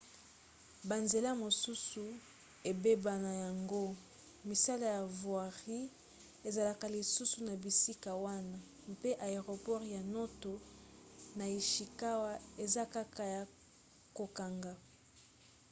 banzela mosusu ebeba na yango misala ya voirie ezalaka lisusu na bisika wana mpe aeroport ya noto na ishikawa eza kaka ya kokanga